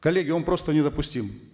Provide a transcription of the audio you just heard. коллеги он просто недопустим